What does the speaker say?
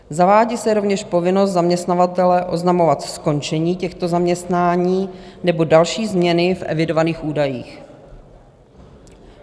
Zavádí se rovněž povinnost zaměstnavatele oznamovat skončení těchto zaměstnání nebo další změny v evidovaných údajích.